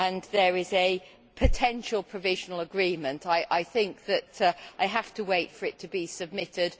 There is a potential provisional agreement, and I think that I have to wait for it to be submitted.